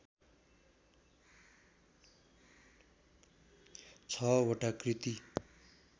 छ वटा कृति